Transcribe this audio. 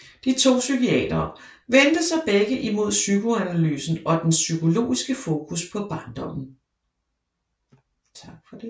De to psykiatere vendte sig begge imod psykoanalysen og dens psykologiske fokus på barndommen